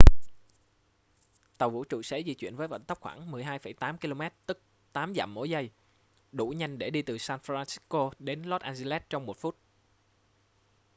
tàu vũ trụ sẽ di chuyển với vận tốc khoảng 12,8 km tức 8 dặm mỗi giây đủ nhanh để đi từ san francisco đến los angeles trong một phút